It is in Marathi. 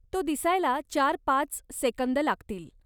तो दिसायला चार पाच सेकंद लागतील.